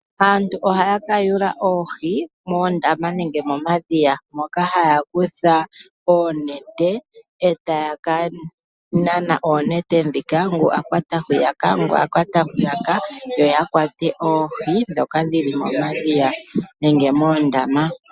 Aantu ohaya ka yuula oohi moondama nenge momadhiya. Moka haya kutha oonete e taya ka nana oonete dhika ngu a kwata hwiyaka ngu a kwata hwiyaka yo ya kwate oohi dhoka dhili mo madhiya nenge moondama.